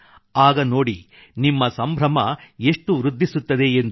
ಆಗ ನೋಡಿ ನಿಮ್ಮ ಸಂಭ್ರಮ ಎಷ್ಟು ವೃದ್ಧಿಸುತ್ತದೆ ಎಂದು